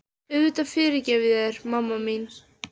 Auðvitað fyrirgef ég þér, mamma mín.